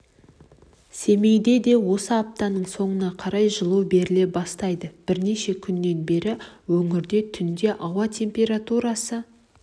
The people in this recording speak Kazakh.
семейде де осы аптаның соңына қарай жылу беріле бастайды бірнеше күннен бері өңірде түнде ауа температурасы